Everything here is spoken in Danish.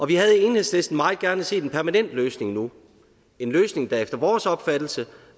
vi havde i enhedslisten meget gerne set en permanent løsning nu en løsning der efter vores opfattelse